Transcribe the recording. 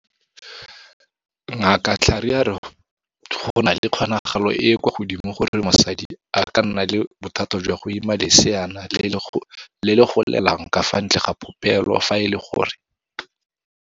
Ngaka Mhlari a re go na le kgonagalo e e kwa godimo ya gore mosadi a ka nna le bothata jwa go ima leseana le le golelang ka fa ntle ga popelo fa e le gore.